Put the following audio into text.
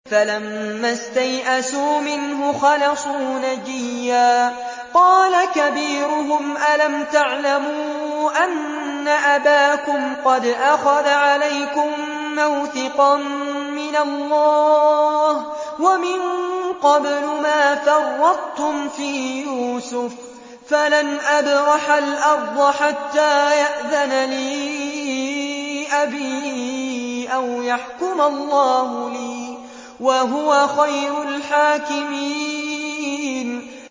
فَلَمَّا اسْتَيْأَسُوا مِنْهُ خَلَصُوا نَجِيًّا ۖ قَالَ كَبِيرُهُمْ أَلَمْ تَعْلَمُوا أَنَّ أَبَاكُمْ قَدْ أَخَذَ عَلَيْكُم مَّوْثِقًا مِّنَ اللَّهِ وَمِن قَبْلُ مَا فَرَّطتُمْ فِي يُوسُفَ ۖ فَلَنْ أَبْرَحَ الْأَرْضَ حَتَّىٰ يَأْذَنَ لِي أَبِي أَوْ يَحْكُمَ اللَّهُ لِي ۖ وَهُوَ خَيْرُ الْحَاكِمِينَ